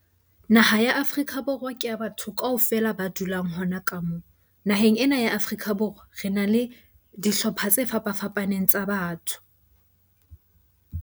Naha ya Afrika Borwa ke ya batho kaofela ba dulang hona ka moo. Naheng ena ya Afrika Borwa re na le dihlopha tse fapafapaneng tsa batho.